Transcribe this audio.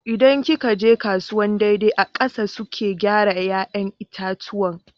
In ki ka je kasuwan daidai a ƙasa suke gyara 'ya'yan itatuwan